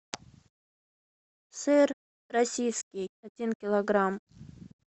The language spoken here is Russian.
сыр российский один килограмм